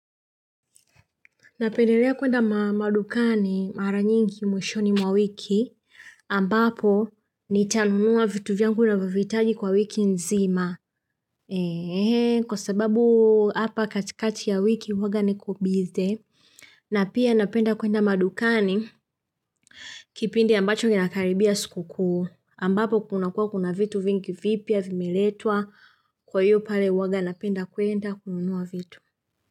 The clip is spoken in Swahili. Napendelea kuenda madukani mara nyingi mwishoni mwa wiki ambapo nitanunua vitu vyangu navyo viitaji kwa wiki nzima. Kwa sababu hapa katikati ya wiki huwanga niko busy na pia napenda kuenda madukani kipindi ambacho inakaribia sikuku ambapo kuna kuwa kuna vitu vingi vipia vimeletwa kwa hiyo pale huwaga napenda kuenda kunuwa vitu.